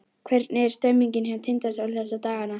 Hvernig er stemningin hjá Tindastól þessa dagana?